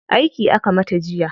Aiki aka mata jiya.